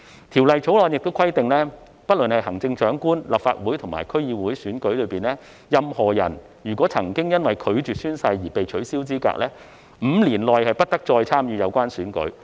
《條例草案》亦規定，不論是在行政長官、立法會或區議會選舉中，任何人若曾因拒絕宣誓而被取消資格 ，5 年內不得參與有關選舉。